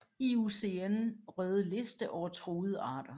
IUCN røde liste over truede arter